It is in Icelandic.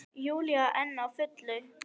Júlía enn á fullu.